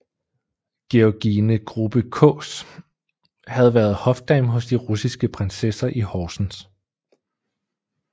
Georgine Grubbe Kaas havde været hofdame hos de russiske prinsesser i Horsens